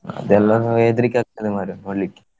ಅದೆಲ್ಲಾ ನಾ ಹೆದ್ರಿಕೆ ಆಗ್ತದೆ ಮಾರೆ ನೋಡ್ಲಿಕ್ಕೆ.